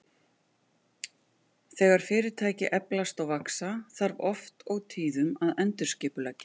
Þegar fyrirtæki eflast og vaxa, þarf oft og tíðum að endurskipuleggja.